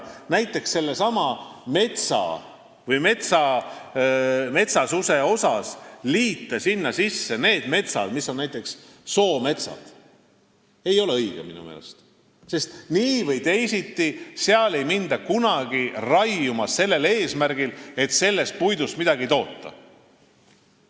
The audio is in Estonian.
Näiteks ei ole minu meelest õige metsasuse arvestamisel liita sinna juurde soometsad, sest nii või teisiti, aga seal ei hakata kunagi raiuma sellel eesmärgil, et sellest puidust midagi toota.